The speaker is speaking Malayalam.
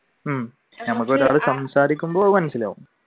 നമുക്ക് ഒരാൾ സംസാരിക്കുമ്പോ മനസിലാകും